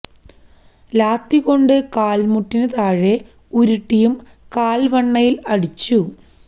ലാത്തി കൊണ്ട് കാൽ മുട്ടിനു താഴെ ഉരുട്ടിയും കാൽ വണ്ണയിൽ അടിച്ചു